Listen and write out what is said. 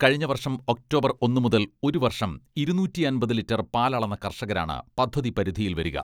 കഴിഞ്ഞ വർഷം ഒക്ടോബർ ഒന്നുമുതൽ ഒരുവർഷം ഇരുനൂറ്റി അമ്പത് ലിറ്റർ പാലളന്ന കർഷകരാണ് പദ്ധതി പരിധിയിൽ വരിക.